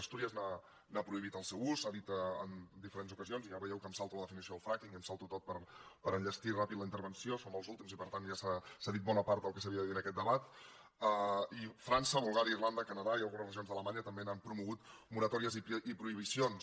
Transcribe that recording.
astúries n’ha prohibit l’ús s’ha dit en diferents ocasions i ja veieu que em salto la definició del fracking i m’ho salto tot per enllestir ràpidament la intervenció som els últims i per tant ja s’ha dit bona part del que s’havia de dir en aquest debat i frança bulgària irlanda canadà i algunes regions d’alemanya també n’han promogut moratòries i prohibicions